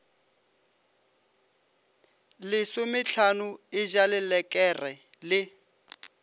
lesomehlano e ja lelekere le